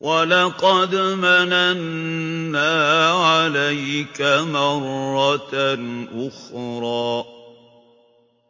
وَلَقَدْ مَنَنَّا عَلَيْكَ مَرَّةً أُخْرَىٰ